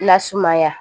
Lasumaya